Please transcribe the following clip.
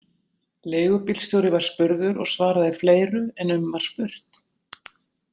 Leigubílstjóri var spurður og svaraði fleiru en um var spurt.